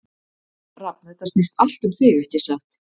Rafn, þetta snýst allt um þig, ekki satt?